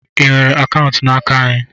I nwere akaụntụ n'aka anyị?